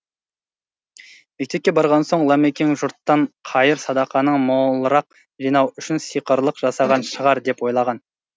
мектепке барған соң ламекең жұрттан қайыр садақаны молырақ жинау үшін сиқырлық жасаған шығар деп ойлаған